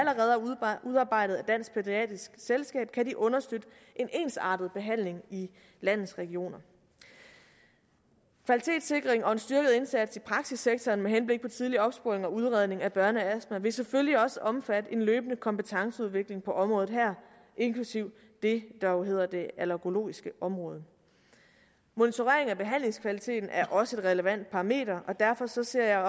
udarbejdet af dansk pædiatrisk selskab kan de understøtte en ensartet behandling i landets regioner kvalitetssikring og en styrket indsats i praksissektoren med henblik på tidlig opsporing og udredning af børneastma vil selvfølgelig også omfatte en løbende kompetenceudvikling på området her inklusive det der jo hedder det allergologiske område monitorering af behandlingskvaliteten er også et relevant parameter og derfor ser jeg